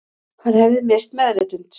Hann hefði misst meðvitund